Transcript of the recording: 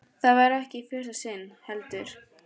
Það var ekki í fyrsta sinn, heldur.